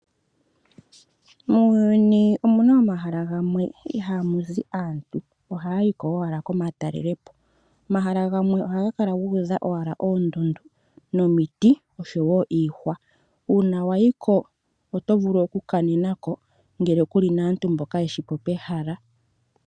Muuyuni omuna omahala gamwe ihaa muzi aantu , ohaya yiko owala yaka talelepo . Omahala gamwe ohaga kala guudha owala oondundu nomiti oshowoo iihwa. Uuna wayiko oto vulu okukanenako ngele kuli naantu mboka yeshipo pehala.